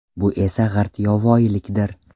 Bu esa g‘irt yovvoyilikdir.